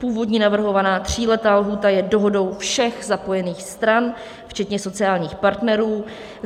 Původní navrhovaná tříletá lhůta je dohodou všech zapojených stran včetně sociálních partnerů.